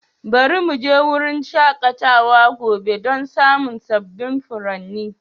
Bari mu je wurin shakatawa gobe don samun sabbin furanni.